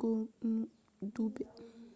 konu dudai